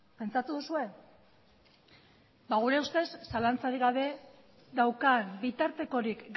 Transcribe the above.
pentsatu duzue ba gure ustez zalantzarik gabe daukan bitartekorik